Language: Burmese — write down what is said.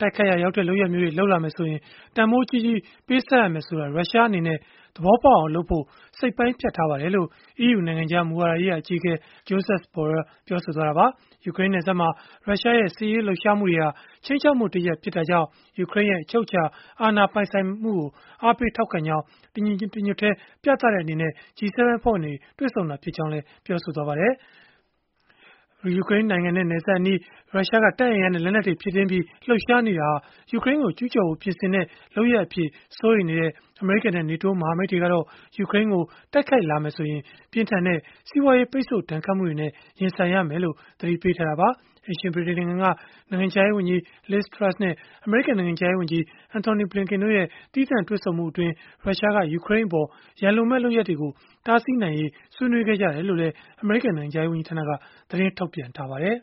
တိုက်ခိုက်ရာရောက်တဲ့ လုပ်ရပ်မျိုးတွေ လုပ်လာမယ်ဆိုရင် တန်ဖိုးကြီးကြီး ပေးဆပ်ရမယ်ဆိုတာ ရုရှားအနေနဲ့ သဘောပေါက်အောင်လုပ်ဖို့ စိတ်ပိုင်းဖြတ်ထားပါတယ်။” လို့ EU နိုင်ငံခြားမူဝါဒရေးရာ အကြီးအကဲ Josep Borrell ပြောဆိုသွားတာပါ။ ယူကရိန်းနယ်စပ်မှာ ရုရှားရဲ့ စစ်ရေးလှုပ်ရှားမှုတွေဟာ ခြိမ်းခြောက်မှုတရပ် ဖြစ်တာကြောင့် ယူကရိန်းရဲ့ အချုပ်အခြာအာဏာ ပိုင်ဆိုင်မှုကို အားပေးထောက်ခံကြောင်း တညီတညွတ်တည်း ပြသတဲ့အနေနဲ့ G7 အဖွဲ့ဝင်တွေ တွေ့ဆုံကြတာ ဖြစ်ကြောင်းလည်း ပြောပါတယ်။ ယူကရိန်းနိုင်ငံနဲ့ နယ်စပ်အနီး ရုရှားက တပ်အင်အားနဲ့ လက်နက်တွေ ဖြည့်တင်းပြီး လှုပ်ရှားနေတာဟာ ယူကရိန်းကို ကျူးကျော်ဖို့ ပြင်ဆင်တဲ့ လုပ်ရပ်အဖြစ် စိုးရိမ်နေကြတဲ့ အမေရိကန်နဲ့ နေတိုးမဟာမိတ်တွေကတော့ ယူကရိန်းကို တိုက်ခိုက်လာမယ်ဆိုရင် ပြင်းထန်တဲ့ စီးပွားရေး ပိတ်ဆို့ဒဏ်ခတ်မှုတွေနဲ့ ရင်ဆိုင်ရမယ်လို့ သတိပေးထားတာပါ။ အိမ်ရှင် ဗြိတိန်နိုင်ငံက နိုင်ငံခြားရေးဝန်ကြီး Liz Truss နဲ့ အမေရိကန် နိုင်ငံခြားရေးဝန်ကြီး Antony Blinken တို့ရဲ့ သီးသန့်တွေ့ဆုံမှုအတွင်း ရုရှားက ယူကရိန်းအပေါ် ရန်လိုမယ့် လုပ်ရပ်တွေကို တားဆီးနိုင်ရေး ဆွေးနွေးခဲ့ကြကြောင်း အမေရိကန် နိုင်ငံခြားရေး ဝန်ကြီးဌာနက သတင်းထုတ်ပြန်ထားပါတယ်။